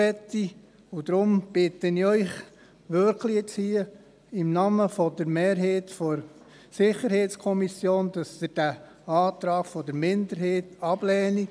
Deshalb bitte ich Sie hier im Namen der Mehrheit der SiK nun wirklich, diesen Antrag der Minderheit abzulehnen.